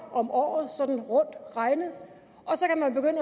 om året sådan rundt regnet og